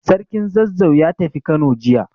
Sarkin Zazzau ya tafi Kano jiya.